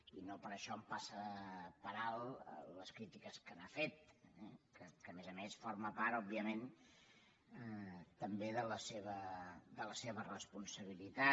i no per això em passen per alt les crítiques que n’ha fet que a més a més forma part òbviament també de la seva responsabilitat